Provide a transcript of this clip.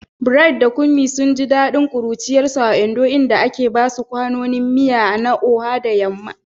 Bright da Kunmi sun ji dadin kuruciyarsu a Ondo, inda ake basu kwanonin miya na Oha da yamma.